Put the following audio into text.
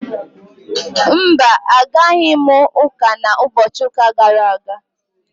Mba, Agaghị m uka na ubochi uka gara aga